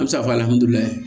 An bɛ se k'a fɔ